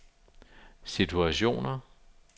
situationer